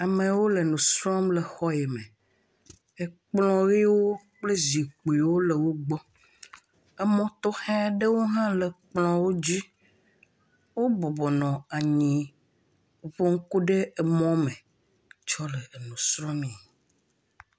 Amewo le nu srɔ̃m le xɔ yi me. Ekplɔ̃ ʋewo kple zikpiwo le wogbɔ. Emɔ̃ tɔxɛ ɖewo hã le kplɔ̃wo dzi. Wobɔbɔ nɔ anyi nu ƒom ku ɖe emɔ̃ me tsɔ le enu srɔ̃mee.